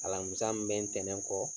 Alamisa min bɛ ntɛnɛn kɔ.